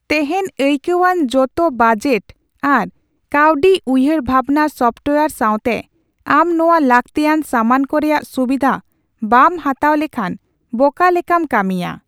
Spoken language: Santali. ᱛᱮᱦᱮᱧ ᱟᱹᱭᱠᱟᱹᱣᱟᱱ ᱡᱚᱛᱚ ᱵᱟᱡᱮᱴ ᱟᱨ ᱠᱟᱹᱣᱰᱤ ᱩᱭᱦᱟᱹᱨ ᱵᱷᱟᱵᱽᱱᱟ ᱥᱚᱯᱷᱴᱳᱭᱟᱨ ᱥᱟᱣᱛᱮ, ᱟᱢ ᱱᱚᱣᱟ ᱞᱟᱹᱠᱛᱤᱭᱟᱱ ᱥᱟᱢᱟᱱ ᱠᱚ ᱨᱮᱭᱟᱜ ᱥᱩᱵᱤᱫᱷᱟ ᱵᱟᱢ ᱦᱟᱛᱟᱣ ᱞᱮᱠᱷᱟᱱ ᱵᱚᱠᱟ ᱞᱮᱠᱟᱢ ᱠᱟᱹᱢᱤᱭᱟ ᱾